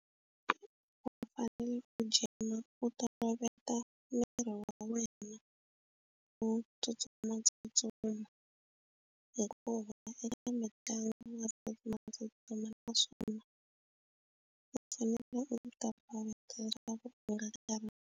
Va fanele ku gym-a u ta toloveta miri wa wena u tsutsumatsutsuma hikuva eka mitlangu na tsutsumatsutsuma naswona u fanele u ta boheka leswaku u nga ti karhi.